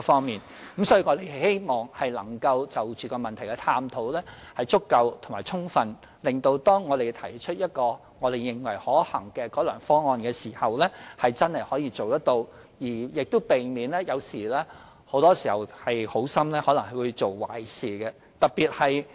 因此，我們希望對問題進行足夠和充分的探討，以致當我們提出一個我們認為可行的改良方案時，那方案是可以實踐的，亦避免可能好心做壞事的情況。